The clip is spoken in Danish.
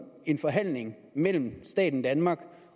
en forhandling mellem staten danmark